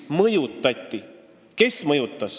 Kes mõjutas?